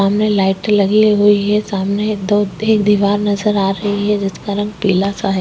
सामने लाइट लगी हुई है सामने एक दो दीवार नज़र आ रही है जिसका रंग पीला सा है।